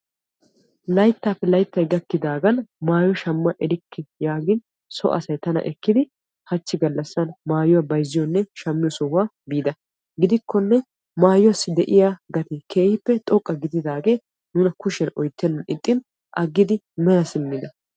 layttappe layttay gakkidaagan maayyo shamma erikka yaagin soo asay tana ekkidi hachchi gaallassan mayyuwa bayzziyonne shammiyo sohuwaa biidi gidikkonne maayyuwassi de'iyaa gatee keehippe xoqqa gididaage nuna kushiyan oottenan ixxin aggidi mela simmida.